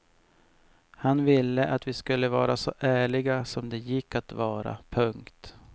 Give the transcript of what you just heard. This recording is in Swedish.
Han ville att vi skulle vara så ärliga som det gick att vara. punkt